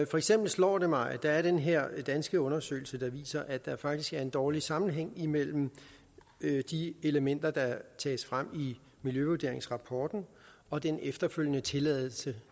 for eksempel slår det mig at der er den her danske undersøgelse der viser at der faktisk er en dårlig sammenhæng imellem de elementer der tages frem i miljøvurderingsrapporten og den efterfølgende tilladelse